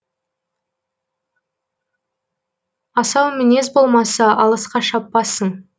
асау мінез болмаса алысқа шаппасың